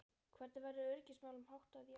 Hvernig verður öryggismálum háttað í ár?